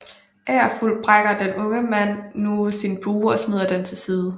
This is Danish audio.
Angerfuld brækker den unge mand nu sin bue og smider den til side